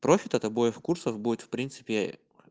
профит этой бой в курсах будет в принципе